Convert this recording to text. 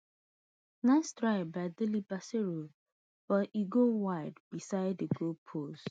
nice try by delebashiru but e go wide beside di goalpost